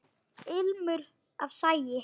Ilmur af sagi.